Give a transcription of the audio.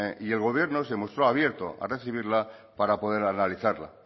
y el gobierno se mostró abierto a recibirla para poder analizarla